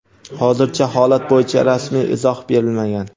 hozircha holat bo‘yicha rasmiy izoh berilmagan.